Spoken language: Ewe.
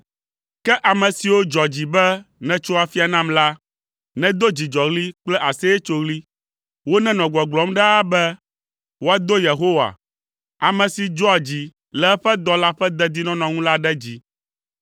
Ke ame siwo dzɔ dzi be nètso afia nam la nedo dzidzɔɣli kple aseyetsoɣli. Wonenɔ gbɔgblɔm ɖaa be, “Woado Yehowa, ame si dzɔa dzi le eƒe dɔla ƒe dedinɔnɔ ŋu la ɖe dzi.”